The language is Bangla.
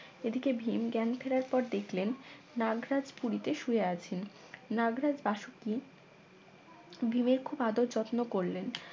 এদিকে ভীম জ্ঞান ফেরার পর দেখলেন নাগরাজ পুরী তে শুয়ে আছেন নাগরাজ বাসুকী ভীমের খুব আদর যত্ন করলেন